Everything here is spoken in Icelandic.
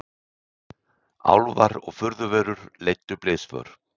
Álfar og furðuverur leiddu blysför